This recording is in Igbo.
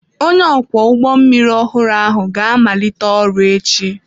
Onye ọkwọ ụgbọ mmiri ọhụrụ ahụ ga-amalite ọrụ echi.